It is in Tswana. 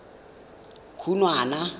khunwana